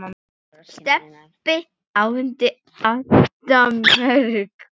Stebbi átti alltaf mörg hross.